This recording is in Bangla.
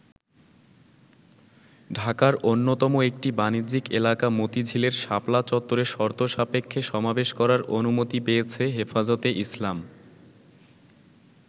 ঢাকার অন্যতম একটি বাণিজ্যিক এলাকা মতিঝিলের শাপলা চত্বরে শর্তসাপেক্ষে সমাবেশ করার অনুমতি পেয়েছে হেফাজতে ইসলাম।